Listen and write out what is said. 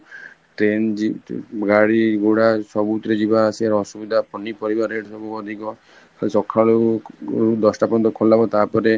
train ଗାଡି ଘୋଡା ସବୁଥିରେ ଯିବା ଆସିବାର ଆସିବିଧା, ପନି ପରିବା rate ସବୁ ଅଧିକ ତ ସଖାଳୁ ଦଶଟା ପର୍ଯ୍ୟନ୍ତ ଖୋଲା ହବ ତା ପରେ